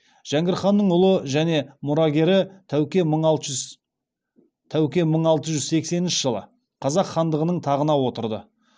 жәңгір ханның ұлы және мұрагері тәуке мың алты жүз сексенінші жылы қазақ хандығының тағына отырды